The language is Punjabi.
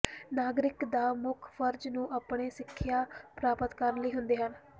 ਨਾਗਰਿਕ ਦਾ ਮੁੱਖ ਫਰਜ਼ ਨੂੰ ਆਪਣੇ ਸਿੱਖਿਆ ਪ੍ਰਾਪਤ ਕਰਨ ਲਈ ਹੁੰਦੇ ਹਨ